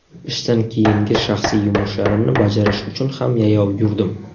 Ishdan keyingi shaxsiy yumushlarimni bajarish uchun ham yayov yurdim.